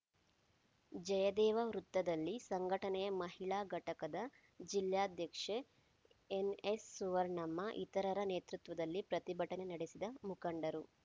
ಜಯದೇವ ವೃತ್ತದಲ್ಲಿ ಸಂಘಟನೆ ಮಹಿಳಾ ಘಟಕದ ಜಿಲ್ಲಾಧ್ಯಕ್ಷೆ ಎನ್‌ಎಸ್‌ಸುವರ್ಣಮ್ಮ ಇತರರ ನೇತೃತ್ವದಲ್ಲಿ ಪ್ರತಿಭಟನೆ ನಡೆಸಿದ ಮುಖಂಡರು